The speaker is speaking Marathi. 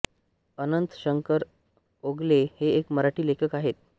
अनंत शंकर ओगले हे एक मराठी लेखक आहेत